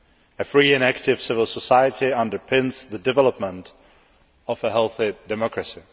A free and active civil society underpins the development of a healthy democracy.